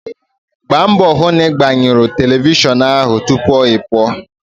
Gbaa mbọ hụ na ị gbanyụrụ telivishọn ahụ tupu ị pụọ!